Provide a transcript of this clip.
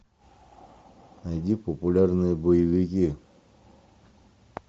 найди популярные боевики